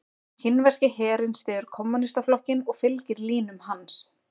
Kínverski herinn styður Kommúnistaflokkinn og fylgir línum hans.